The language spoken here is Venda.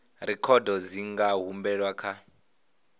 rekhodo dzi nga humbelwa kha